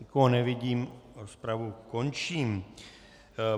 Nikoho nevidím, rozpravu končím.